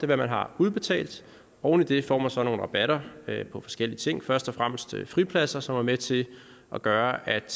hvad man har udbetalt oven i det får man så nogle rabatter på forskellige ting først og fremmest fripladser som er med til at gøre at